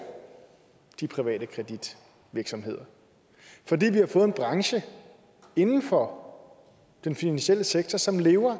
de private kreditvirksomheder fordi vi har fået en branche inden for den finansielle sektor som lever af